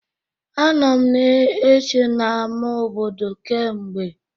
Anọ m na-eche n'ama obodo kee mgbe.